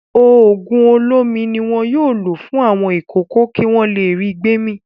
Òògùn olómi ni wọn yóò lò fún àwọn ìkókó kí wọ́n le ri gbémì.